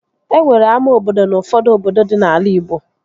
E nwere ama obodo n'ufọdụ obodo dị n'ala igbo